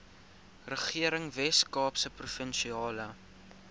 regering weskaapse provinsiale